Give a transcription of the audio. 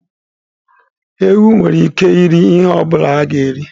Ewu nwere ike iri ihe ọ bụla a ga-eri.